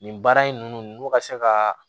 Nin baara in nn n'u ka se ka